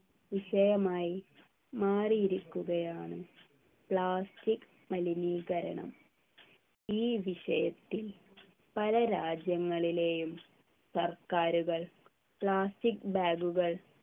വിഷയമായി മാറിയിരിക്കുകയാണ് plastic മലിനീകരണം ഈ വിഷയത്തിൽ പല രാജ്യങ്ങളിലെയും സർക്കാരുകൾ plastic bag കൾ